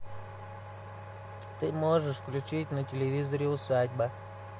ты можешь включить на телевизоре усадьба